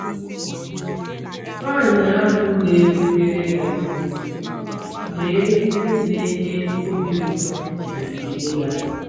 Nwanyị ahụ na-erubere ya isi, lee ihe na-enye obi ụtọ na-ekele ya!